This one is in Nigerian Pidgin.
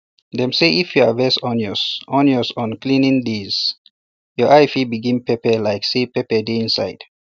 dem say if you harvest onions onions on cleansing day your eye fit begin pepper like say pepper dey inside